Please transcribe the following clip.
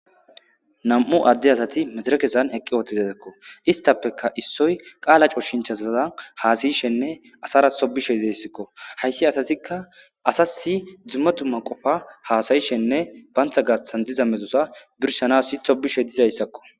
nam7u adde asati mederekesan eqqi ootedetekko istappeka issoy qaala coshinchazaza haasayishenne asara sobishe ideyssikko hayssi asatikka asasi dzumma tumma qofa haasayishenne bantha gaaththan diza mexosa birsanasi hobishe dizayssakko